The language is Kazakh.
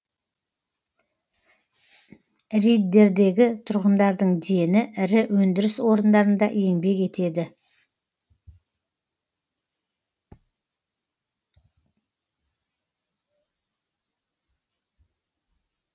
риддердегі тұрғындардың дені ірі өндіріс орындарында еңбек етеді